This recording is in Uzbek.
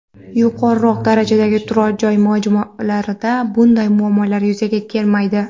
Yuqoriroq darajadagi turar joy majmualarida bunday muammolar yuzaga kelmaydi.